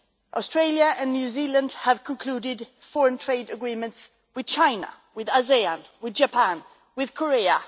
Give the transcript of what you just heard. Australia and New Zealand have concluded foreign trade agreements with China, with ASEAN, with Japan and with Korea.